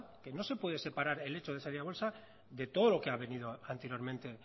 que no se puede separar el hecho de salida a bolsa de todo lo que ha venido anteriormente